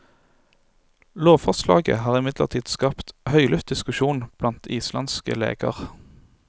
Lovforslaget har imidlertid skapt høylydt diskusjon blant islandske leger.